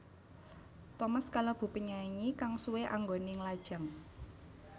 Thomas kalebu penyanyi kang suwé anggoné nglajang